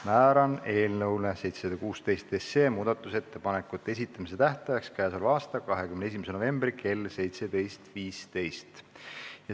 Määran eelnõu 716 muudatusettepanekute esitamise tähtajaks k.a 21. novembri kell 17.15.